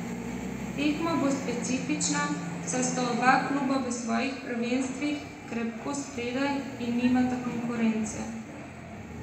Tekma bo specifična, saj sta oba kluba v svojih prvenstvih krepko spredaj in nimata konkurence.